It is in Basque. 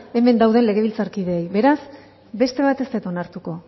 hemen dauden legebiltzarkideei beraz beste bat ez dut onartuko